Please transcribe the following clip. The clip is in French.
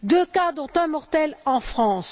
deux cas, dont un mortel, en France.